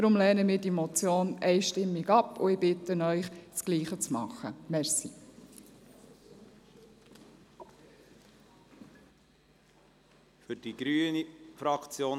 Darum lehnen wir die Motion einstimmig ab und bitten Sie, das Gleiche zu tun.